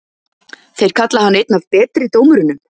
Þeir kalla hann einn af betri dómurunum?